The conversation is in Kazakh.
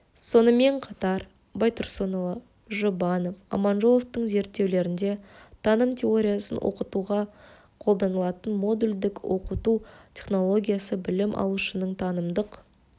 сонымен қатар байтұрсынұлы жұбанов аманжоловтың зерттеулерінде таным теориясын оқытуға қолданылатын модульдік оқыту технологиясы білім алушының танымдық